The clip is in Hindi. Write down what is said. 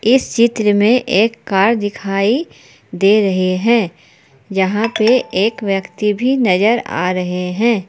इस चित्र में एक कार दिखाई दे रहे हैं जहां पे एक व्यक्ति भी नजर आ रहे हैं।